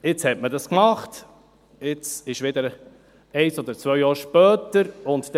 Jetzt hat man das gemacht, und es sind ein, zwei Jahre vergangen.